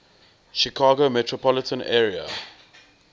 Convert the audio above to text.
chicago metropolitan area